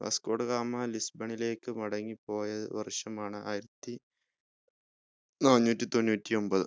Vasco da Gama ലിസ്ബണിലേക്ക് മടങ്ങി പോയ വർഷമാണ് ആയിരത്തി നാനൂറ്റി തൊണ്ണൂറ്റി ഒമ്പത്